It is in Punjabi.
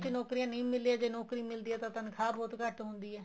ਚ ਨੋਕਰੀਆਂ ਨਹੀਂ ਮਿਲ ਰਹੀਆਂ ਜ਼ੇ ਨੋਕਰੀ ਮਿਲਦੀ ਹੈ ਤਾਂ ਤਨਖਾਹ ਬਹੁਤ ਘੱਟ ਹੁੰਦੀ ਏ